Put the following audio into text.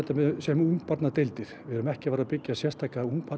sem ungbarnadeildir við erum ekki að fara að byggja sérstaka